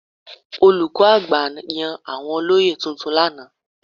Olùkọ́ àgbà yàn àwọn olóyè tuntun lánàá.